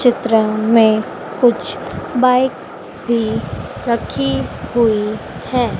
चित्र में कुछ बाइक भी रखी हुई हैं।